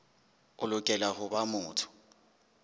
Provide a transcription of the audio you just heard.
o lokela ho ba motho